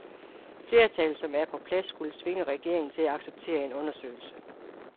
Flertallet, som er på plads, skulle tvinge regeringen til at acceptere en undersøgelse.